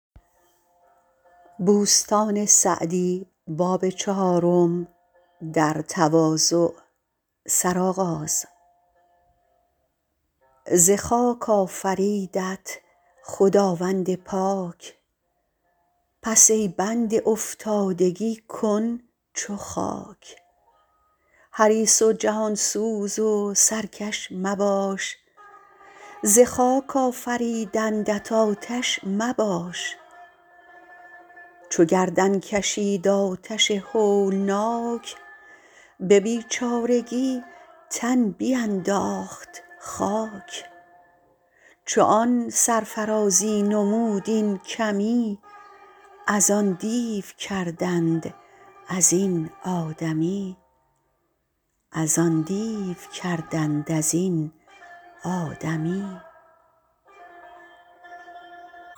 ز خاک آفریدت خداوند پاک پس ای بنده افتادگی کن چو خاک حریص و جهان سوز و سرکش مباش ز خاک آفریدندت آتش مباش چو گردن کشید آتش هولناک به بیچارگی تن بینداخت خاک چو آن سرفرازی نمود این کمی از آن دیو کردند از این آدمی